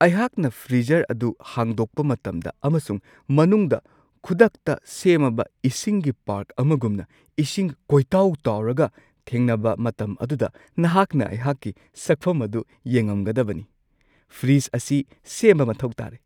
ꯑꯩꯍꯥꯛꯅ ꯐ꯭ꯔꯤꯖꯔ ꯑꯗꯨ ꯍꯥꯡꯗꯣꯛꯄ ꯃꯇꯝꯗ ꯑꯃꯁꯨꯡ ꯃꯅꯨꯡꯗ ꯈꯨꯗꯛꯇ ꯁꯦꯝꯃꯕ ꯏꯁꯤꯡꯒꯤ ꯄꯥꯔꯛ ꯑꯃꯒꯨꯝꯅ ꯏꯁꯤꯡ ꯀꯣꯏꯇꯥꯎ-ꯇꯥꯎꯔꯒ ꯊꯦꯡꯅꯕ ꯃꯇꯝ ꯑꯗꯨꯗ ꯅꯍꯥꯛꯅ ꯑꯩꯍꯥꯛꯀꯤ ꯁꯛꯐꯝ ꯑꯗꯨ ꯌꯦꯡꯉꯝꯒꯗꯕꯅꯤ ꯫ ꯐ꯭ꯔꯤꯖ ꯑꯁꯤ ꯁꯦꯝꯕ ꯃꯊꯧ ꯇꯥꯔꯦ ꯫